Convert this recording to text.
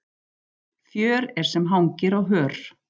Fjör er sem hangi á hör.